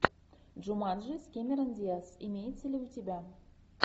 джуманджи с кэмерон диаз имеется ли у тебя